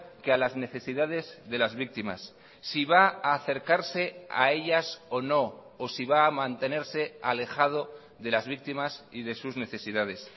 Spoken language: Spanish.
que a las necesidades de las víctimas si va a acercarse a ellas o no o si va a mantenerse alejado de las víctimas y de sus necesidades